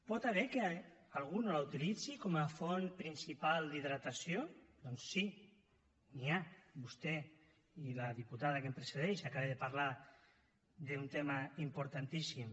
pot haver hi algú que no la utilitzi com a font principal d’hidratació doncs sí n’hi ha vostè i la diputada que em precedeix acaba de parlar d’un tema importantíssim